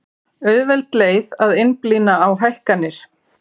Auðveld leið að einblína á hækkanir